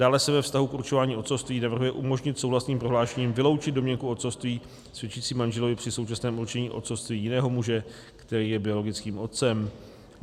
Dále se ve vztahu k určování otcovství navrhuje umožnit souhlasným prohlášením vyloučit domněnku otcovství svědčící manželovi při současném určení otcovství jiného muže, který je biologickým otcem.